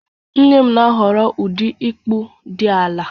Nne m na-ahọrọ ụdị ịkpụ dị ala